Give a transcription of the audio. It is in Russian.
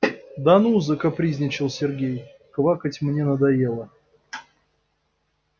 да ну закапризничал сергей квакать мне надоело